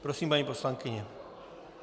Prosím, paní poslankyně.